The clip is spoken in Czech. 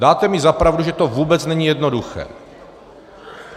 Dáte mi za pravdu, že to vůbec není jednoduché.